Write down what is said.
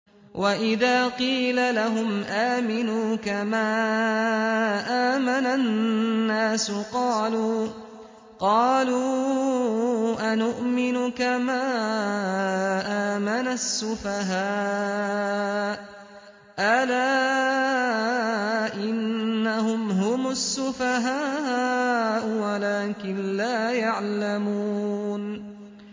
وَإِذَا قِيلَ لَهُمْ آمِنُوا كَمَا آمَنَ النَّاسُ قَالُوا أَنُؤْمِنُ كَمَا آمَنَ السُّفَهَاءُ ۗ أَلَا إِنَّهُمْ هُمُ السُّفَهَاءُ وَلَٰكِن لَّا يَعْلَمُونَ